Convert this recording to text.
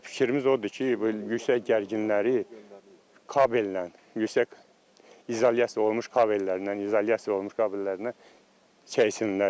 Fikrimiz odur ki, bu yüksək gərginləri kabellə, yüksək izolyasiya olunmuş kabellərindən, izolyasiya olunmuş kabellərindən çəksinlər.